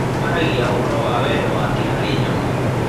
Aaragia ũhoro wa wendo wake harĩ nyamũ.